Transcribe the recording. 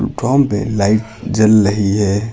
पे लाइट जल रही है।